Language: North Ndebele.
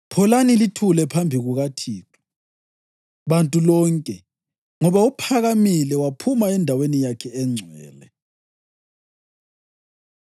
Pholani lithule phambi kukaThixo, bantu lonke, ngoba uphakamile waphuma endaweni yakhe engcwele.”